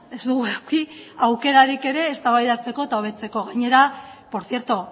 ez dugu eduki aukerarik ere eztabaidatzeko eta hobetzeko gainera por cierto